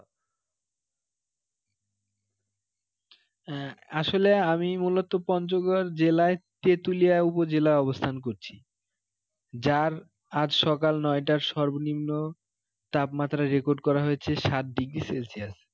আহ আসলে আমি মূলত পঞ্চগড় জেলার তেঁতুলিয়া উপজেলায় অবস্থান করছি যার আজ সকাল নয় টার সর্বনিম্ন তাপমাত্রা record করা হয়েছে সাত degree celsius